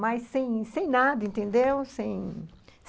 mas sem sem nada, entendeu? sem